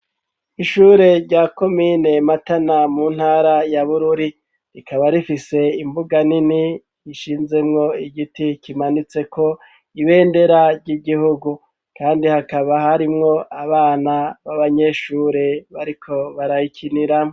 Ishure rya komine Matana, mu ntara ya Bururi, rikaba rifise imbuga nini, ishinzemwo igiti kimanitseko ibendera ry'igihugu, kandi hakaba harimwo abana b'abanyeshure, bariko barayikiniramwo.